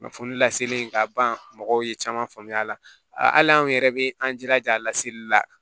Kunnafoni laseli ka ban mɔgɔw ye caman faamuya a la hali anw yɛrɛ bɛ an jilaja a laseli la